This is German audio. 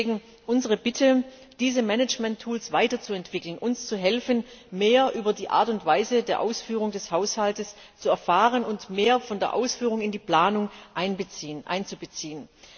Deswegen unsere Bitte, diese Management Tools weiterzuentwickeln, uns zu helfen, mehr über die Art und Weise der Ausführung des Haushalts zu erfahren, und mehr von der Ausführung in die Planung einzubeziehen.